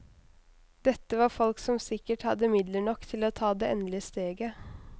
Dette var folk som sikkert hadde midler nok til å ta det endelige steget.